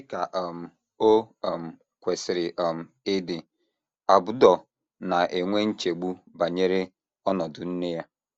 Dị ka um o um kwesịrị um ịdị, Abdur na - enwe nchegbu banyere ọnọdụ nne ya.